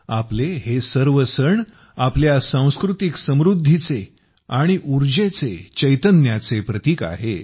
आपले हे सर्व सण आपल्या सांस्कृतिक समृद्धीचे आणि ऊर्जेचे चैतन्याचे प्रतीक आहेत